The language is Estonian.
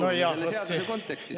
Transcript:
See on oluline selle seaduse kontekstis.